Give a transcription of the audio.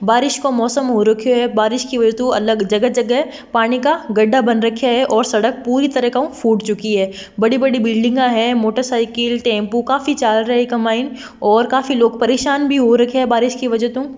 बारिश काे मोसम हो रखियो है बारिश के वजहतो अलग जगह-जगह पानी का गड्ढा बन रखिया है और सड़क पूरी तरीके उ फुट चुकी है बड़ी-बड़ी बिल्डिंगा है मोटरसाइकिल टेम्पू काफी चाल रिया है इके माईन और काफी लोग परेशान भी हो रखया है बारिश की वजह तो।